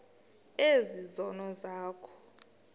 ezi zono zakho